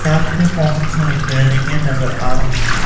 साथ में बहोत सारी बिल्डिंगें नजर आ रही हैं।